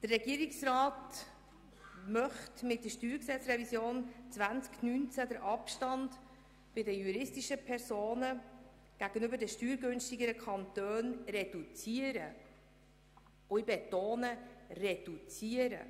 Der Regierungsrat möchte mit der StG-Revision 2019 den Abstand bei den juristischen Personen gegenüber den steuergünstigeren Kantonen reduzieren – ich betone: reduzieren.